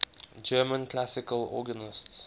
german classical organists